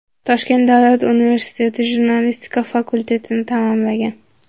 Toshkent Davlat universiteti jurnalistika fakultetini tamomlagan.